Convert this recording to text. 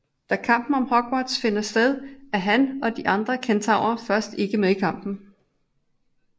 Da Kampen om Hogwarts finder sted er han og de andre kentaurer først ikke med i kampen